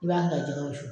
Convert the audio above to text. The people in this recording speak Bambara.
I b'a da jɛgɛ wusu